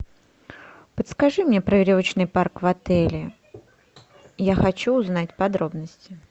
подскажи мне про веревочный парк в отеле я хочу узнать подробности